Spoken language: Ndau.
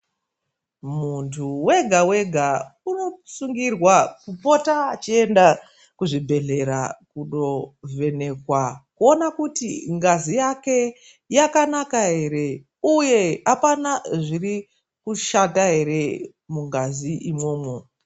Munthu wega wega unosungirwa kupota echienda kuzvibhedhlera kundovhenekwa kuona kuti ngazi yake yakanaka ere uye kuti apana zviri kushata ere mungazi imwomwo.